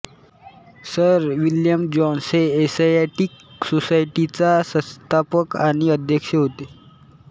sir William Jones हे Asiatic सोसायटीचा संस्थापक आणि अध्यक्ष होते